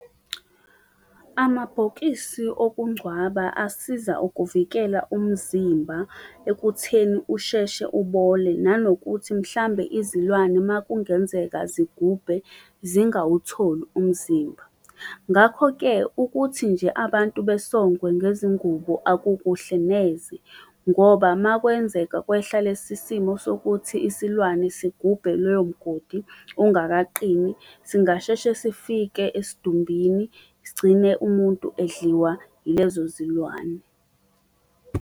Amabhokisi okungcwaba asiza ukuvikela umzimba ekutheni usheshe ubole nanokuthi mhlambe izilwane makungenzeka zigubhe zingawutholi umzimba. Ngakho-ke ukuthi nje abantu besongwe ngezingubo akukuhle neze, ngoba uma kwenzeka kwehla lesi simo sokuthi isilwane sigubhe loyo mgodi ungakaqini singasheshe sifike esidumbini, sigcine umuntu edliwa yilezo zilwane.